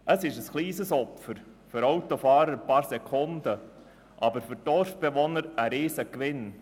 Ein paar Sekunden, das ist ein kleines Opfer für den Autofahrer, aber für die Dorfbewohner ist es ein Riesengewinn.